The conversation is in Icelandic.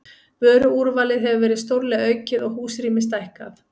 Vöruúrvalið hefur verið stórlega aukið og húsrými stækkað.